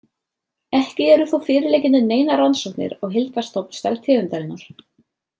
Ekki eru þó fyrirliggjandi neinar rannsóknir á heildarstofnstærð tegundarinnar.